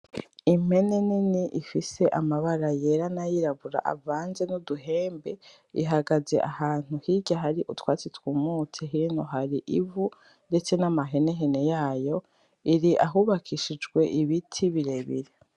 Impene nini ifise amabara yera n’ayirabura avanze n’uduhembe, ihagaze ahantu hirya hari utwatsi twumutse hino hari ivu ndetse n’amahenehene yayo. Iri ahubakishijwe ibiti birebire.